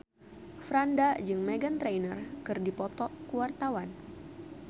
Franda jeung Meghan Trainor keur dipoto ku wartawan